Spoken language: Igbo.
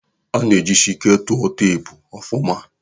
Ana ejisike tua teepu ọfụma.